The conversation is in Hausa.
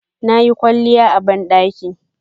Nayi kwalliya a bandaki